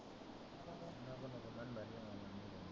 नको नको मन भरलं माझं.